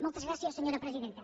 moltes gràcies senyora presidenta